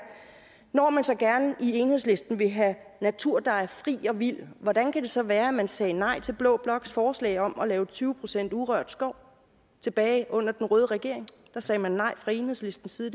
når man så gerne i enhedslisten vil have natur der er fri og vild hvordan kan det så være man sagde nej til blå bloks forslag om at lave tyve procent urørt skov tilbage under en røde regering der sagde man nej fra enhedslistens side